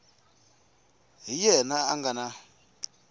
hi yena a nga na